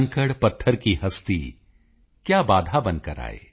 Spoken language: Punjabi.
ਕੰਕੜਪੱਥਰ ਕੀ ਹਸਤੀ ਕਯਾ ਬਾਧਾ ਬਨਕਰ ਆਏ